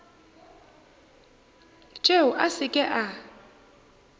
tšeo a se ke a